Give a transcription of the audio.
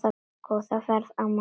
Góða ferð, amma mín.